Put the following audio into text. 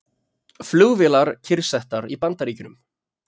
Flugvélar kyrrsettar í Bandaríkjunum